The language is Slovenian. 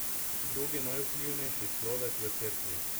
Drugi najvplivnejši človek v Cerkvi.